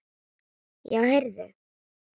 Já, heyrðu.